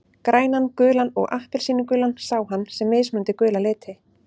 Grænan, gulan og appelsínugulan sá hann sem mismunandi gula liti.